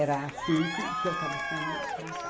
Era assim que eu estava sendo tratada.